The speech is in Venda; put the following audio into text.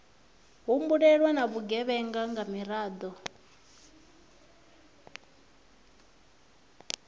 humbulelwa na vhugevhenga nga miraḓo